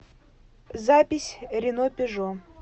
запись ренопежо